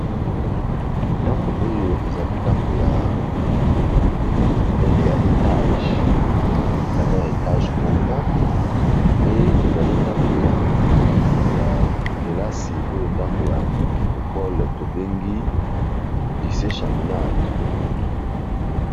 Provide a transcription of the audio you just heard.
Ndako oyo ezali ndako ya monene ya etage ezali na ya etage moko pe ezali ndako ya kelasi oyo ndako ya ecole to bengi dice chaminade .